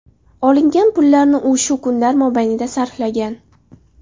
Olingan pullarni u shu kunlar mobaynida sarflagan.